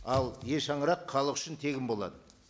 ал е шаңырақ халық үшін тегін болады